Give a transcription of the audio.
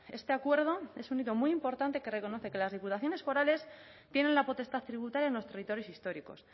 este acuerdo es un hito muy importante que reconoce que las diputaciones forales tienen la potestad tributaria en los territorios históricos